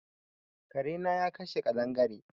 Kare na ya kashe kaɗangare.